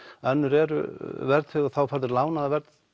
önnur eru verðtryggð og þá færðu lánaða